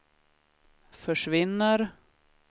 försvinner